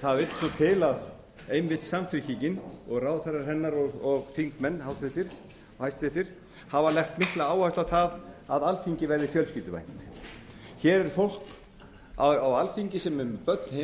það vill svo til að einmitt samfylkingin og hæstvirtir ráðherrar hennar og háttvirtir þingmenn hafa lagt mikla áherslu á að alþingi verði fjölskylduvænt hér er fólk á alþingi sem er með börn heima hjá